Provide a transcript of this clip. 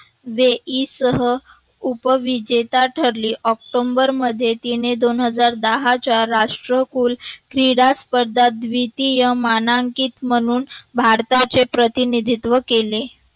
वेतीसह उपविजेता ठरले. ऑक्टोबर मध्ये तिने दोन हजार दहा च्या राष्ट्रकुल श्रीराज द्वितीय मानांकित म्हणून भारताचे प्रतिनिधित्व केले.